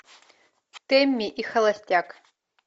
тэмми и холостяк